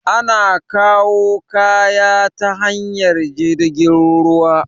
Ana kawu kaya ta hanyar jirgin ruwa